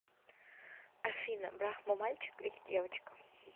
афина брахма мальчик или девочка